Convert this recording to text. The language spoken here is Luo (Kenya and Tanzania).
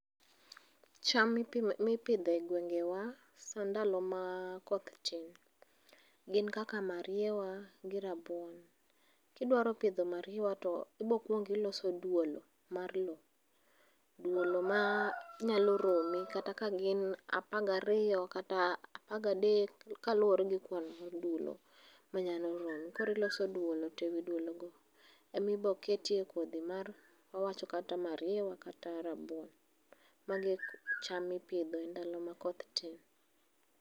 cham mipidhi e gwengewa saa ndalo ma koth tin gin kaka mariewa gi rabuon. Kidwa pidho mariewa tibo kuong iloso duolo mar loo. Duolo manyalo romi kata ka gin 12 kata 13 kaluore gi kwan mag dulo ma nyalo romi. Koro iloso duolo to ewi duolo go ema ibiro kete kodhi kata mag mariewa kata mag rabuon. Mago e cham mipidho ekinde ma koth tin